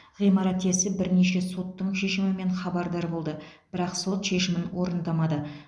ғимарат иесі бірнеше соттың шешімімен хабардар болды бірақ сот шешімін орындамады